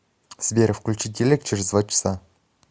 сбер включи телек через два часа